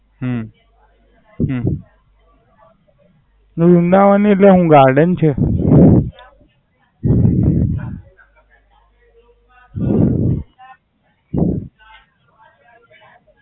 હમ હમ વૃંદાવન પેલું Garden છે.